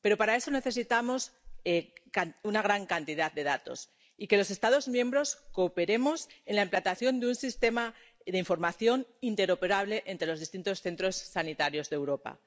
Pero para eso necesitamos una gran cantidad de datos y que los Estados miembros cooperemos en la implantación de un sistema de información interoperable entre los distintos centros sanitarios de Europa.